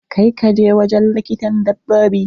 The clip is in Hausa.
Ka kai kajin wujin likitan dabbobi!